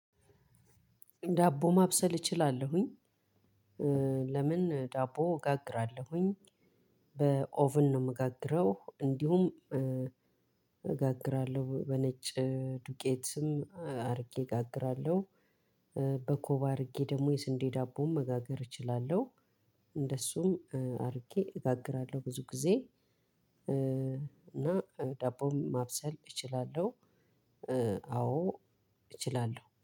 ዳቦ ማብሰል እችላለሁኝ። ለምን ዳቦ እጋግራለሁኝ። በኦቭን ነው የምጋግረው እንዲሁም እጋግራለሁ በነጭ ዱቄትም አድርጌ እጋግራለሁ። በኮባ አድርጌ ደግሞ የስንዴ ዳቦም መጋገር እችላለሁ። እንደሱም አድርጌ እጋግራለሁ ብዙ ጊዜ። እና ዳቦም ማብሰል እችላለሁ። አዎ እችላለሁ